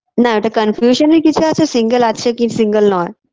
না এটা confusion -এর কিছু আছে single আছে কি single নয়